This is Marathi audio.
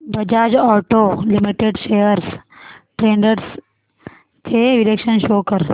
Bajaj auto limited shares trends चे विश्लेषण शो कर